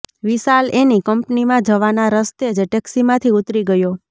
વિશાલ એની કંપનીમાં જવાના રસ્તે જ ટેક્સીમાંથી ઊતરી ગયો